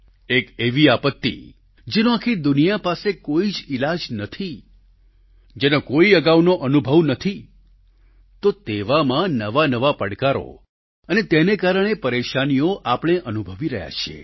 એક એવી આપત્તિ જેનો આખી દુનિયા પાસે કોઈ જ ઈલાજ નથી જેનો કોઈ અગાઉનો અનુભવ નથી તો તેવામાં નવા નવા પડકારો અને તેને કારણે પરેશાનીઓ આપણે અનુભવી રહ્યા છીએ